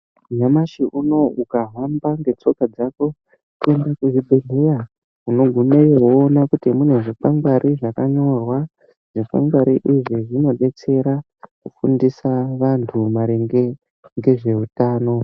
Nyamashi unou ukahamba ngetsoka dzako kuenda kuzvibhehlera unoona kune zvikwangwari zvakanyorwa .Zvikwangwari izvi zvinodetsera kufundise antu maringe nezveutano.